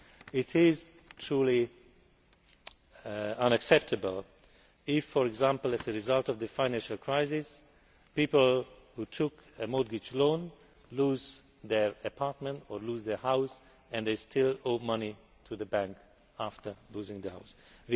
It is truly unacceptable if, for example, as a result of the financial crisis, people who took out a mortgage loan lose their apartment or house, and then still owe money to the bank after losing the house.